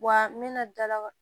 Wa n bɛna dalawa